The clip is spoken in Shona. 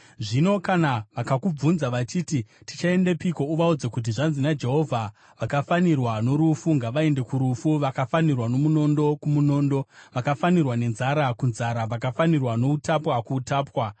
Zvino kana vakakubvunza vachiti, ‘Tichaendepiko?’ Uvaudze kuti, ‘Zvanzi naJehovha: “ ‘Vakafanirwa norufu ngavaende kurufu, vakafanirwa nomunondo, kumunondo; vakafanirwa nenzara, kunzara; vakafanirwa noutapwa, kuutapwa.’